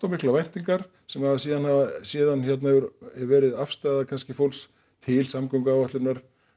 miklar væntingar sem síðan síðan hefur verið afstaða fólks til samgönguáætlunar